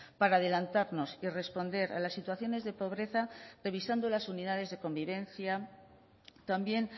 para adelantarnos y responder a las situaciones de pobreza revisando las unidades de convivencia también